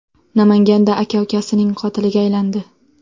Namanganda aka ukasining qotiliga aylandi.